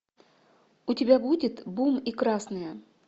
у тебя будет бум и красные